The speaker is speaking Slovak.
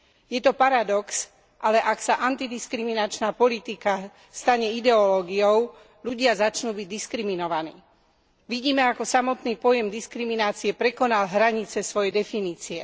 Je to paradox, ale ak sa antidiskriminačná politika stane ideológiou, ľudia začnú byť diskriminovaní. Vidíme ako samotný pojem diskriminácie prekonal hranice svojej definície.